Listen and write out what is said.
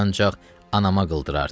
Ancaq anama qıldırardı.